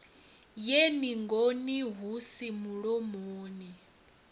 ye ningoni hu si mulomoni